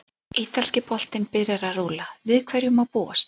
Ítalski boltinn byrjar að rúlla- Við hverju má búast?